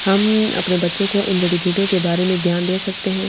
हम अ अपने बच्चो को इंडिया के बारे मे ज्ञान दे सकते हैं।